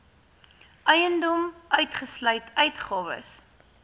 eiendom uitgesluit uitgawes